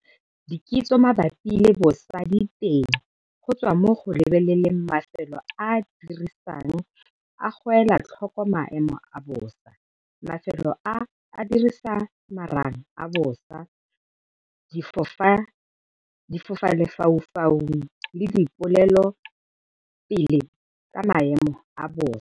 Dikitso mabapi le bosa di teng go tswa mo go go lebelela, mafelo a a itirisang a go ela tlhoko maemo a bosa, mafelo a a dirisang marang a bosa, difofalefaufau le dipolelopele ka maemo a bosa.